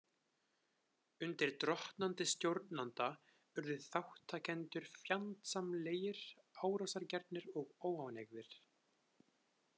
Undir drottnandi stjórnanda urðu þátttakendur fjandsamlegir, árásargjarnir og óánægðir.